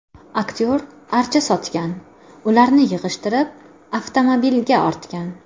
Aktyor archa sotgan, ularni yig‘ishtirib, avtomobilga ortgan.